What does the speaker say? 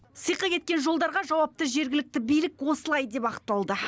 сиқы кеткен жолдарға жауапты жергілікті билік осылай деп ақталды